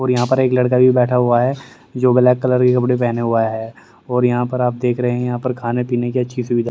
और यहां पर एक लड़का भी बैठा हुआ है जो ब्लैक कलर के कपड़े पहने हुआ है और यहां पर आप देख रहे हैं यहां पर खाने पीने की अच्छी सुविधा --